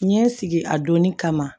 N ye n sigi a donni kama